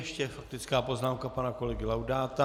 Ještě faktická poznámka pana kolegy Laudáta.